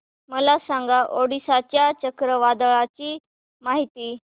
मला सांगा ओडिशा च्या चक्रीवादळाची माहिती